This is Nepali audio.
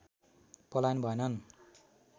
पलायन भएनन्